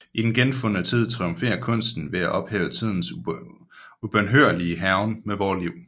I Den genfundne tid triumferer kunsten ved at ophæve tidens ubønhørlige hærgen med vore liv